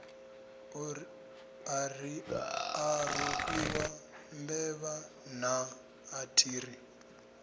a rofhiwa mbevha naa athiri